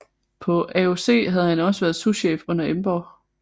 På AOC havde han også været souschef under Emborg